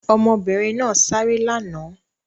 Ọmọbìnrin náà sáré lánàá?